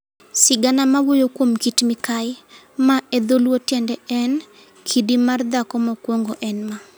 Sigana mawuoyo kuom Kit Mikayi, ma e dho Luo tiende en "kidi mar dhako mokwongo", en ma.